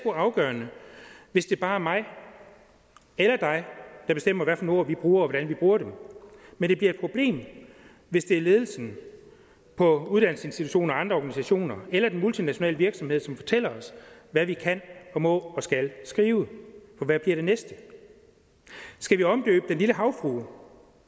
afgørende hvis det bare er mig eller dig der bestemmer hvilke ord vi bruger og hvordan vi bruger dem men det bliver et problem hvis det er ledelsen på uddannelsesinstitutioner og andre organisationer eller den multinationale virksomhed som fortæller os hvad vi kan og må og skal skrive for hvad bliver det næste skal vi omdøbe den lille havfrue